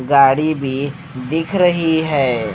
गाड़ी भी दिख रही है।